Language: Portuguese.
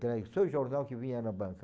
entregue. Só o jornal que vinha na banca.